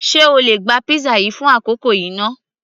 sé o lè gba pizza yìí fún àkókò yìí náà